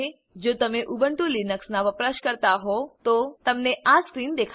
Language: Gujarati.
જો તમે ઉબુન્ટુ લીનક્સનાં વપરાશકર્તા હોવ તો તમને આ સ્ક્રીન દેખાશે